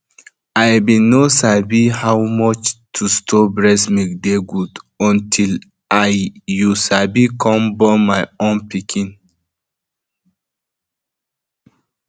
i been no sabi how how much to store breast milk dey good until i you sabi come born my own pikin